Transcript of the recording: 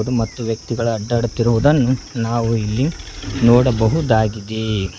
ಮತ್ತು ವ್ಯಕ್ತಿಗಳು ಅಡ್ಡಾಡುತ್ತಿರುವುದನ್ನು ನಾವು ಇಲ್ಲಿ ನೋಡಬಹುದಾಗಿದೆ.